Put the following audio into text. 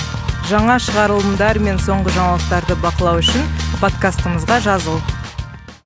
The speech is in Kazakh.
жаңа шығарылымдар мен соңғы жаңалықтарды бақылау үшін подкастымызға жазыл